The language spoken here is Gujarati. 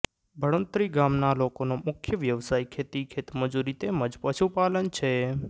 બળુંત્રી ગામના લોકોનો મુખ્ય વ્યવસાય ખેતી ખેતમજૂરી તેમ જ પશુપાલન છે